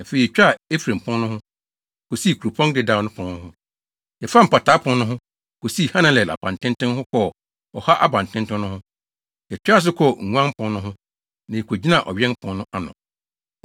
afei yetwaa Efraim Pon no ho, kosii Kuropɔn Dedaw Pon no, yɛfaa Mpataa Pon no ho, kosii Hananel Abantenten ho kɔɔ Ɔha Abantenten no ho. Yɛtoaa so kɔɔ Nguan Pon no ho, na yekogyinaa Ɔwɛn Pon no ano.